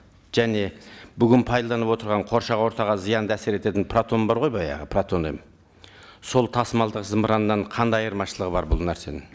және бүгін пайдаланып отырған қоршаған ортаға зиянды әсер ететін протон бар ғой баяғы протон м сол тасымалдық зымыраннан қандай айырмашылығы бар бұл нәрсенің